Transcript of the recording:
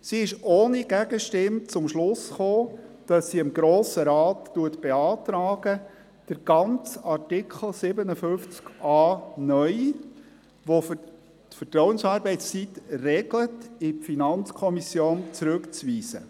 Sie ist ohne Gegenstimme zum Schluss gekommen, dem Grossen Rat zu beantragen, den ganzen Artikel 57a (neu), welcher die Vertrauensarbeitszeit regelt, an die FiKo zurückzuweisen.